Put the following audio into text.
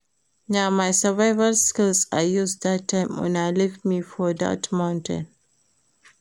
Na my survival skills I use dat time una leave me for dat mountain